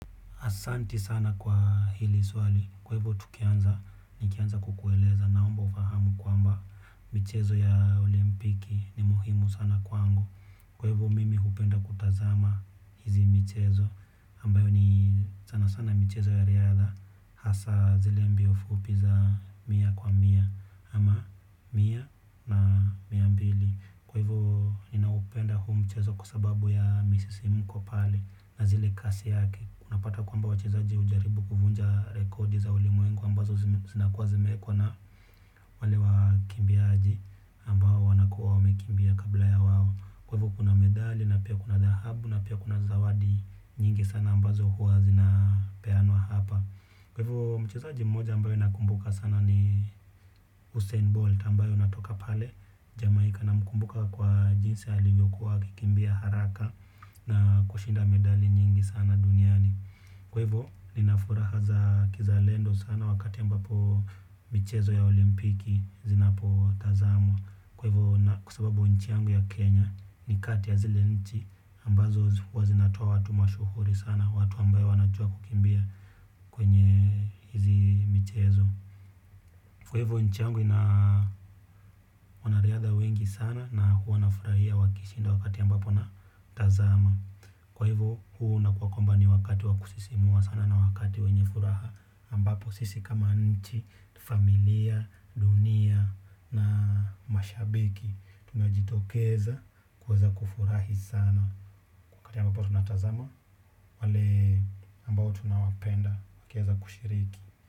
Asanti sana kwa hili swali, kwa hivyo tukianza, nikianza kukueleza naomba ufahamu kwamba michezo ya olimpiki ni muhimu sana kwangu. Kwa hivyo mimi hupenda kutazama hizi michezo, ambayo ni sana sana michezo ya riadha, hasa zile mbio fupi za mia kwa mia ama mia na miambili. Kwa hivyo ninaupenda huu mchezo kwa sababu ya misisimko pale na zile kasi yake unapata kwamba wachezaji hujaribu kuvunja rekodi za ulimwengu ambazo zinakuwa zimeekwa na wale wakimbiaji ambao wanakuwa wamekimbia kabla ya wao. Kwa hivyo kuna medali na pia kuna dhahabu na pia kuna zawadi nyingi sana ambazo huwa zinapeanwawa hapa. Kwa hivyo mchezaji mmoja ambaye nakumbuka sana ni Usain Bolt ambaye anatoka pale Jamaika namkumbuka kwa jinsi alivyo akikimbia haraka na kushinda medali nyingi sana duniani. Kwa hivyo, nina furaha za kizalendo sana wakati ambapo michezo ya olimpiki zinapotazamwa. Kwa hivyo, kwa sababu nchi yangu ya Kenya ni kati ya zile nchi ambazo huwa zinatoa watu mashuhuri sana, watu ambao wanajua kukimbia kwenye hizi michezo. Kwa hivyo nchi yangu ina wanariadha wengi sana na huwa nafurahia wakishinda wakati ambapo natazama. Kwa hivyo huu unakuwa kwamba ni wakati wa kusisimua sana na wakati wenye furaha ambapo sisi kama nchi, familia, dunia na mashabiki. Tunajitokeza kuweza kufurahi sana. Wakati ambapo tunatazama wale ambao tunawapenda wakiweza kushiriki.